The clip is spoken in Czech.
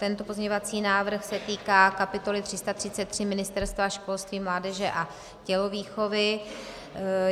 Tento pozměňovací návrh se týká kapitoly 333 Ministerstva školství, mládeže a tělovýchovy.